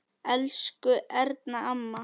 Elsku Erna amma.